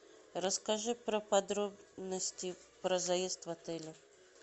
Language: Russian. расскажи про подробности про заезд в отеле